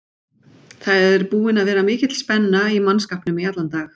Það er búin að vera mikil spenna í mannskapnum í allan dag.